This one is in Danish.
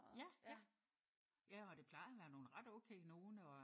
Ja ja. Ja og det plejer at være nogle ret okay nogle og øh